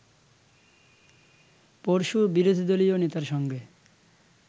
পরশু বিরোধীদলীয় নেতার সঙ্গে